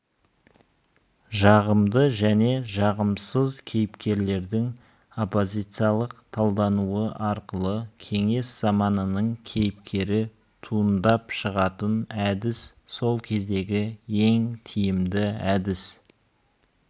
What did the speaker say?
жағымды және жағымсыз кейіпкерлердің оппозициялық талдануы арқылы кеңес заманының кейіпкері туындап шығатын әдіс сол кездегі ең тиімді әдіс